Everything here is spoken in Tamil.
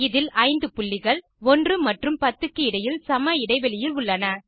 இதில் 5 புள்ளிகள் 1 மற்றும் 10 க்கு இடையில் சம இடைவெளியில் உள்ளன